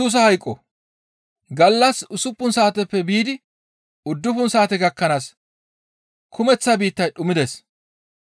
Gallas usuppun saateppe biidi uddufun saate gakkanaas kumeththa biittay dhumides.